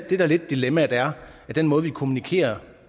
det der lidt er dilemmaet er at den måde vi kommunikerer